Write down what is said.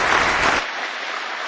Thank you very much,